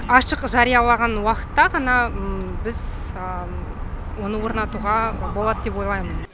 ашық жариялаған уақытта ғана біз оны орнатуға болады деп ойлаймын